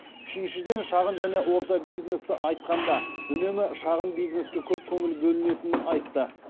үшіншіден шағын және орта бизнесті айтқанда үнемі шағын бизнеске көп көңіл бөлінетінін айтты